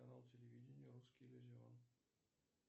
канал телевидения русский иллюзион